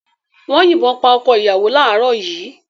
Wọ́n yìnbọn pa ọkọ-ìyàwó láàárọ̀ yìí.